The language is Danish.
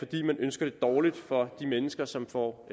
de ønsker det dårligt for de mennesker som får